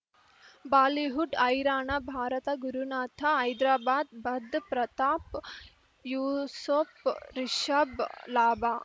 Bollywood ಹೈರಾಣ ಭಾರತ ಗುರುನಾಥ ಹೈದರಾಬಾದ್ ಬಧ್ ಪ್ರತಾಪ್ ಯೂಸುಪ್ ರಿಷಬ್ ಲಾಭ